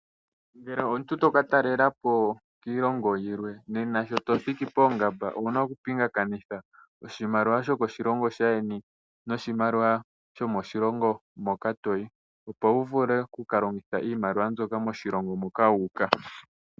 Ngele omuntu to ka talelapo kiilongo yilwe nena shi to thiki poongamba owuna okupingakanitha oshimaliwa shokoshilongo shaayeni noshimaliwa shomoshilongo moka toyi, opo wu vule okuka longitha iimaliwa mbyoka moshilongo moka wu uka.